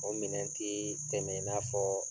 O minɛn te tɛmɛ i na fɔ